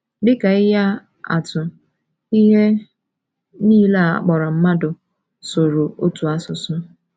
Dị ka ihe atụ, ihe nile a kpọrọ mmadụ sụrụ otu asụsụ.